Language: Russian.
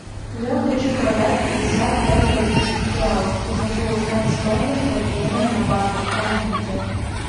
я хочу продать пятьдесят пять бразильских реалов и хочу узнать стоимость обмена на баты помогите